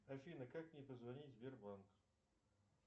афина как мне позвонить в сбербанк